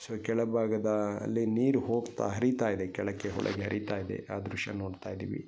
So ಕೆಳಭಾಗದಲ್ಲಿ ನೀರು ಹೋಗ್ತಾ ಹರಿತಾ ಇದೆ ಕೆಳಕ್ಕೆ ಹೊಳೆಗೆ ಹರಿತಾ ಇದೆ ಆ ದೃಶ್ಯ ನೋಡ್ತಾ ಇದ್ದೀವಿ .